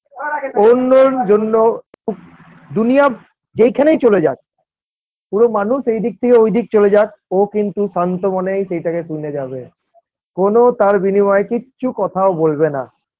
অন্যর জন্য দুনিয়া যেইখানেই চলে যাক পুরো মানুষ এইদিক থিয়ে ওইদিক চলে যাক ও কিন্তু শান্ত মনেই সেটাকে শুনে যাবে কোনো তাঁর বিনিময়ে কিচ্ছু কথাও বলবে না।